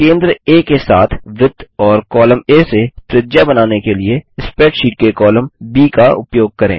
केंद्र आ के साथ वृत्त और कॉलम आ से त्रिज्या बनाने के लिए स्प्रैडशीट के कॉलम ब का उपयोग करें